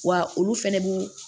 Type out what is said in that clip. Wa olu fɛnɛ b'u